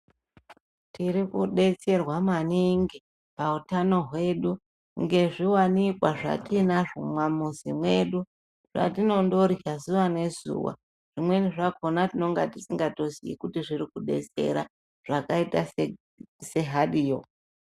Tiri kudetserwa maningi pautanho hwedu ngezviwanikwa zvatiinazvo mumwamuzi mwedu zvatinondorya zuwa nezuwa zvimweni zvakhona tinenga tisingatozii kuti zviri kudetsera zvakaita sehariyo.